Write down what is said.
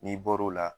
N'i bɔr'o la